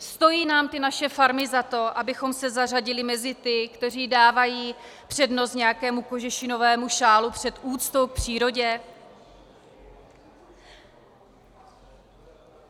Stojí nám ty naše farmy za to, abychom se zařadili mezi ty, kteří dávají přednost nějakému kožešinovému šálu před úctou k přírodě?